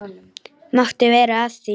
Máttu vera að því?